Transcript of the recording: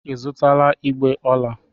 Ị zụtala igbè ọla?